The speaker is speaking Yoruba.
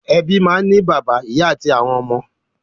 Ẹbí máa ń ní bàbá, ìyá àti àwọn ọmọ.